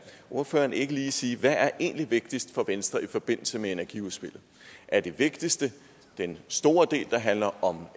ordføreren ikke lige sige hvad der egentlig er vigtigst for venstre i forbindelse med energiudspillet er det vigtigste den store del der handler om